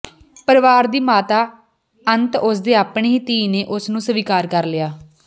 ਪਰਿਵਾਰ ਦੀ ਮਾਤਾ ਅੰਤ ਉਸ ਦੇ ਆਪਣੇ ਹੀ ਧੀ ਨੇ ਉਸ ਨੂੰ ਸਵੀਕਾਰ ਕਰ ਲਿਆ